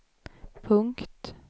punkt